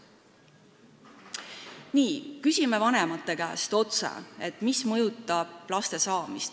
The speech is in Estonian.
Nii, me küsisime vanemate käest otse, mis mõjutab laste saamist.